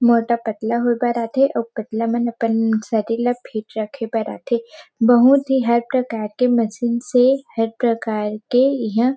मोटा पतला हो कर आथे और पतला मन पन शरीर ला फ़ीट रखे बर आथे बहुत ही हर प्रकार के मशीन से हर प्रकार के इहा --